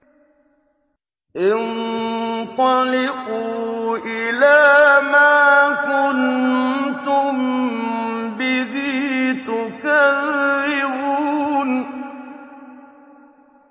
انطَلِقُوا إِلَىٰ مَا كُنتُم بِهِ تُكَذِّبُونَ